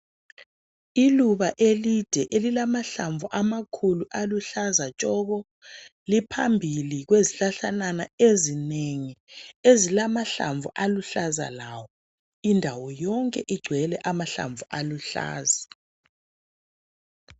Iluba elide elilamahlamvu amakhulu aluhlaza tshoko liphanbili kwezihlahlakazana ezinengi ezilamanhlamvu aluhlaza lawo indawo yonke igcwele amahlamvu aluhlaza